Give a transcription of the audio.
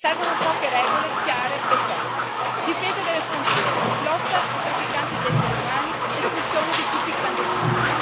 Servono poche regole, chiare e ferree difesa delle frontiere, lotta ai trafficanti di esseri umani, espulsione di tutti i clandestini.